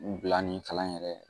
Bila ni kalan yɛrɛ